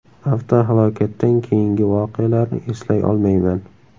Avtohalokatdan keyingi voqealarni eslay olmayman.